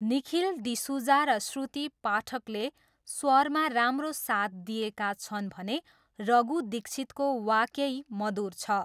निखिल डिसुजा र श्रुति पाठकले स्वरमा राम्रो साथ दिएका छन् भने रघु दीक्षितको 'वाकेई' मधुर छ।